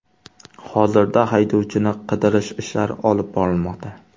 Hozirda haydovchini qidirish ishlari olib borilmoqda.